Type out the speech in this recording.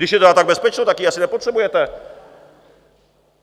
Když je tedy tak bezpečno, tak ji asi nepotřebujete!